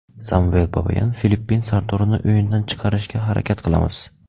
Samvel Babayan: Filippin sardorini o‘yindan chiqarishga harakat qilamiz.